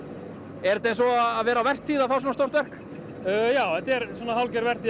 er þetta eins og að vera á vertíð að fá svona stórt verk já þetta er hálfgerð vertíð hjá